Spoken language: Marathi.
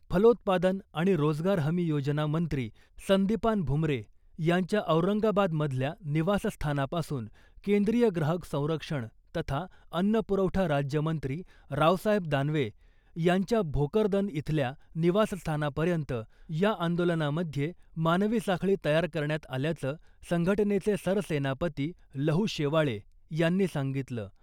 फलोत्पादन आणि रोजगार हमी योजना मंत्री संदीपान भुमरे यांच्या औरंगाबादमधल्या निवासस्थानापासून केंद्रीय ग्राहक संरक्षण तथा अन्न पुरवठा राज्यमंत्री रावसाहेब दानवे यांच्या भोकरदन इथल्या निवासस्थानापर्यंत या आंदोलनामध्ये मानवी साखळी तयार करण्यात आल्याचं संघटनेचे सरसेनापती लहु शेवाळे यांनी सांगितलं .